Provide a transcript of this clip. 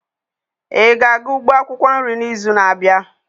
Ị ga-aga ugbo akwukwo nri n'izu na-abịa?